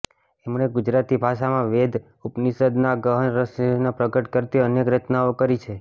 એમણે ગુજરાતી ભાષામાં વેદ ઉપનિષદના ગહન રહસ્યોને પ્રગટ કરતી અનેક રચનાઓ કરી છે